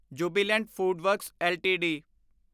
Jubilant Foodworks LTD